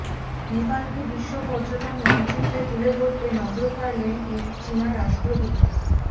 নেপালকে বিশ্ব পর্যটন মানচিত্রে তুলে ধরতে নজর কাড়ছেন এই চিনা রাষ্ট্রদূত